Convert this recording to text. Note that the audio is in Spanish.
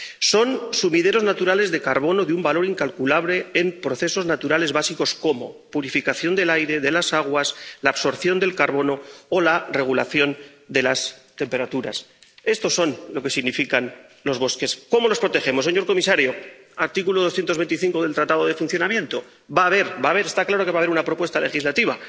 Son sumideros naturales de carbono de un valor incalculable en procesos naturales básicos como la purificación del aire y de las aguas, la absorción del carbono o la regulación de las temperaturas. Esto significan los bosques. ¿Cómo nos protegemos? Señor comisario, en virtud del artículo 225 del Tratado de Funcionamiento, está claro que va a haber una propuesta legislativa.